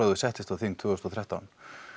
þú settist á þing tvö þúsund og þrettán